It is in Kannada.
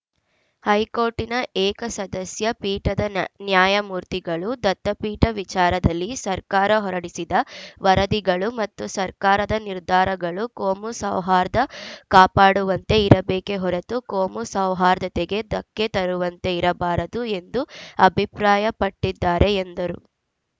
ಹೈಕೋರ್ಟ್‌ನ ಏಕ ಸದಸ್ಯ ಪೀಠದ ನ್ಯ ನ್ಯಾಯಮೂರ್ತಿಗಳು ದತ್ತಪೀಠ ವಿಚಾರದಲ್ಲಿ ಸರ್ಕಾರ ಹೊರಡಿಸಿದ ವರದಿಗಳು ಮತ್ತು ಸರ್ಕಾರದ ನಿರ್ಧಾರಗಳು ಕೋಮು ಸೌಹಾರ್ದ ಕಾಪಾಡುವಂತೆ ಇರಬೇಕೆ ಹೊರತು ಕೋಮು ಸೌಹಾರ್ದತೆಗೆ ಧಕ್ಕೆ ತರುವಂತೆ ಇರಬಾರದು ಎಂದು ಅಭಿಪ್ರಾಯ ಪಟ್ಟಿದ್ದಾರೆ ಎಂದರು